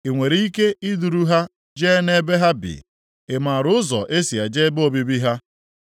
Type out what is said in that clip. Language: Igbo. Ị nwere ike iduru ha jee nʼebe ha bi? Ị maara ụzọ e si eje ebe obibi ha?